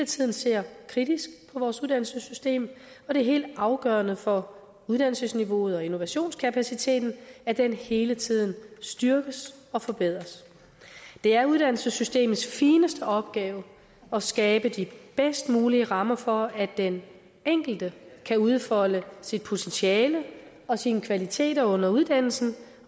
tiden ser kritisk på vores uddannelsessystem og det er helt afgørende for uddannelsesniveauet og innovationskapaciteten at den hele tiden styrkes og forbedres det er uddannelsessystemets fineste opgave at skabe de bedst mulige rammer for at den enkelte kan udfolde sit potentiale og sine kvaliteter under uddannelsen